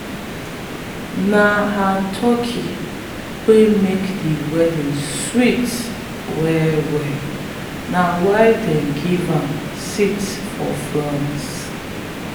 na her turkey make the wedding sweet well well na why them give am seat for front.